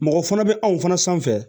Mɔgɔ fana bɛ anw fana sanfɛ